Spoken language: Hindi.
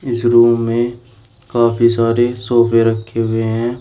इस रूम में काफी सारे सोफे रखे हुए हैं।